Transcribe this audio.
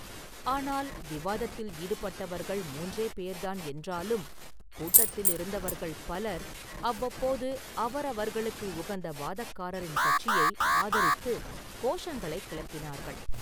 ஆனால் விவாதத்தில் ஈடுபட்டவர்கள் மூன்றே பேர்தான் என்றாலும், கூட்டத்திலிருந்தவர்கள் பலர் அவ்வப்போது அவரவர்களுக்கு உகந்த வாதக்காரரின் கட்சியை ஆதரித்துக் கோஷங்களைக் கிளப்பினார்கள்.